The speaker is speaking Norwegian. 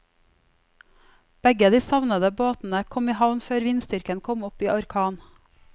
Begge de savnede båtene kom i havn før vindstyrken kom opp i orkan.